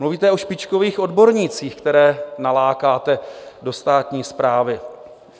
Mluvíte o špičkových odbornících, které nalákáte do státní správy.